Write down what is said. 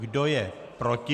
Kdo je proti?